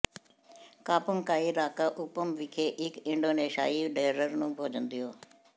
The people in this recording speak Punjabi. ਕਾੰਪੁੰਗ ਕਾਈ ਰਾਂਕਾ ਉਪਸ ਵਿਖੇ ਇਕ ਇੰਡੋਨੇਸ਼ੀਆਈ ਡੈਰਰ ਨੂੰ ਭੋਜਨ ਦਿਓ